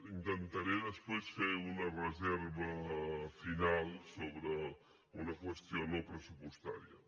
intentaré després fer una reserva final sobre una qüestió no pressupostària